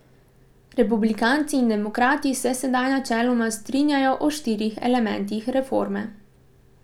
Republikanci in demokrati se sedaj načeloma strinjajo o štirih elementih reforme.